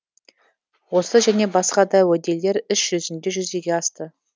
осы және басқа да уәделер іс жүзінде жүзеге асты